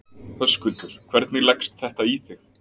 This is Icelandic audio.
Höskuldur: Hvernig leggst þetta í þig?